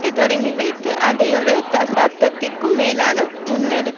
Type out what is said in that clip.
வைத்து அதை ஒரு தசாப்தத்துக்கும் மேலாக கொடூரமாக முன்னெடுத்தமைக்கு யூஎன்பி